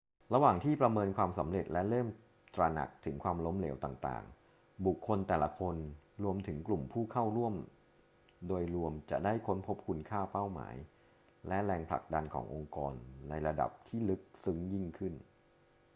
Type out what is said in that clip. ระหว่างที่ประเมินความสำเร็จและเริ่มตระหนักถึงความล้มเหลวต่างๆ บุคคลแต่ละคน รวมถึงกลุ่มผู้เข้าร่วมโดยรวมจะได้ค้นพบคุณค่า เป้าหมาย และแรงผลักดันขององค์กรในระดับที่ลึกซึ้งยิ่งขึ้น